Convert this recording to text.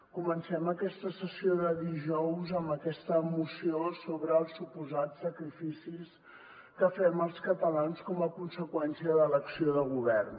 comencem aquesta sessió de dijous amb aquesta moció sobre els suposats sacrificis que fem els catalans com a conseqüència de l’acció de govern